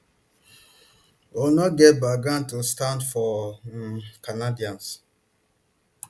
but we no go back down to stand for um canadians